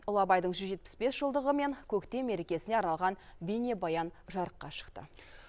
ұлы абайдың жүз жетпіс бес жылдығы мен көктем мерекесіне арналған бейнебаян жарыққа шықты